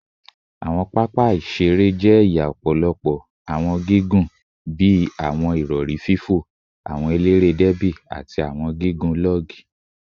Awọn papa iṣere iṣere jẹ ẹya ọpọlọpọ awọn gigun bii awọn irọri fo, awọn elere derby, ati awọn gigun log